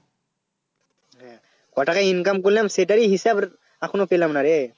হ্যাঁ কটাকা Income করলাম সেটারই হিসাব এখনো পেলাম না রে